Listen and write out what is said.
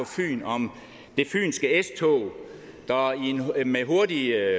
fyn om det fynske s tog der med hurtige